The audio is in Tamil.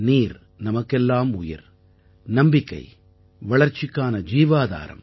நீர் நமக்கெல்லாம் உயிர் நம்பிக்கை வளர்ச்சிக்கான ஜீவாதாரம்